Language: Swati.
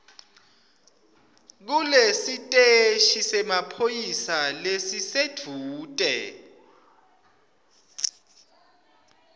kulesiteshi semaphoyisa lesisedvute